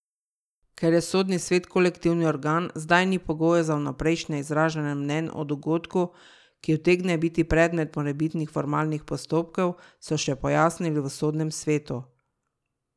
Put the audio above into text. Ker je Sodni svet kolektivni organ, zdaj ni pogojev za vnaprejšnje izražanje mnenj o dogodku, ki utegne biti predmet morebitnih formalnih postopkov, so še pojasnili v Sodnem svetu.